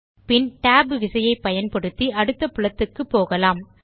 பின் tab விசையை பயன்படுத்தி அடுத்த புலத்துக்கு போகலாம்